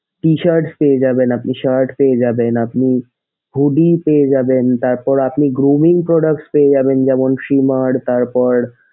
tshirt পেয়ে যাবেন আপনি shirt পেয়ে যাবেন আপনি hoodie পেয়ে যাবেন তারপর আপনি glooming products পেয়ে যাবেন যেমন trimmer তারপর,